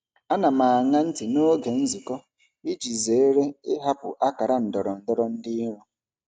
Ana m aṅa ntị n'oge nzukọ iji zere ịhapụ akara ndọrọndọrọ dị nro.